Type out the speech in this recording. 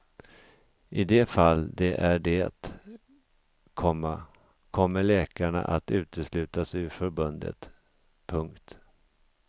I de fall de är det, komma kommer läkarna att uteslutas ur förbundet. punkt